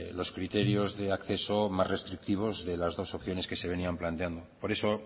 los criterios de acceso más restrictivos de las dos opciones que se venían planteando por eso